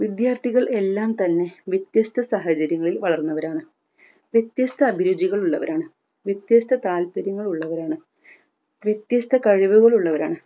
വിദ്യാർത്ഥികൾ എല്ലാം തന്നെ വ്യത്യസ്‌ത സാഹചര്യങ്ങളിൽ വളർന്നവരാണ് വിത്യസ്ത അഭിരുചികൾ ഉള്ളവരാണ് വിത്യസ്‌ത താൽപര്യങ്ങൾ ഉള്ളവരാണ് വിത്യസ്‌ത കഴിവുകൾ ഉള്ളവരാണ്